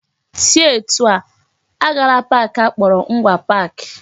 Si etu a! Agala park akpọrọ Ngwa Park